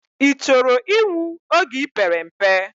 I choro inwu oge ipere mpe?